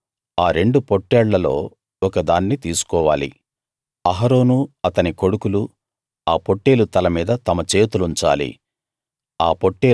నువ్వు ఆ రెండు పొట్టేళ్లలో ఒకదాన్ని తీసుకోవాలి అహరోను అతని కొడుకులు ఆ పొట్టేలు తల మీద తమ చేతులుంచాలి